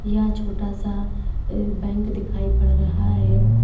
यह छोटा सा अह बैंक दिखाई पड़ रहा है।